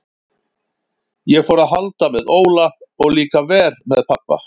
Ég fór að halda með Óla og líka verr við pabba.